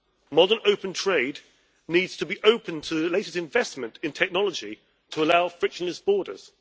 Modern open trade needs to be open to the latest investment in technology to allow frictionless borders.